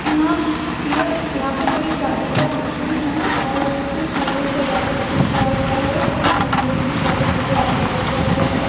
यहां ये यहां पे कोई शादी का फंक्शन है और कुछ फूलों से डेकोरेशन किया हुआ है इसका मेन गेट भी बहोत अच्छे से डेकोरेट किया हुआ है।